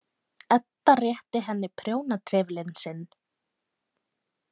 Edda rétti henni prjónatrefilinn sinn.